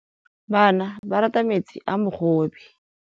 Bana ba rata metsi a mogobe.